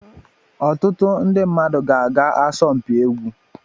Ọtụtụ ndị mmadụ ga-aga asọmpi egwu